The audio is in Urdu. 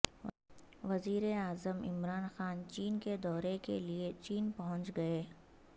وزیراعظم عمران خان چین کے دورہ کے لیے چین پہنچ گئے